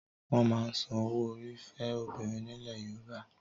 Wọ́n máa ń san owó orí fẹ́ obìnrin nílẹ̀ Yorùbá.